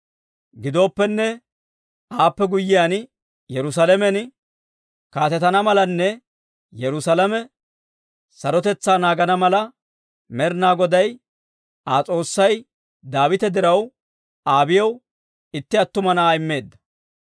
Gidooppenne, aappe guyyiyaan Yerusaalamen kaatetana malanne Yerusaalame sarotetsaa naagana mala, Med'inaa Goday Aa S'oossay Daawita diraw Abiiyaw itti attuma na'aa immeedda.